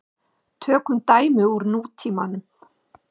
Tökum dæmi úr nútímanum.